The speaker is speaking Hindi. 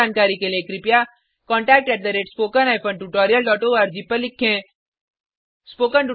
अधिक जानकारी के लिए contactspoken tutorialorg पर लिखें